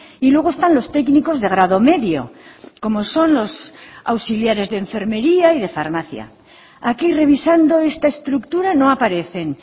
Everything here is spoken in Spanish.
y luego están los técnicos de grado medio como son los auxiliares de enfermería y de farmacia aquí revisando esta estructura no aparecen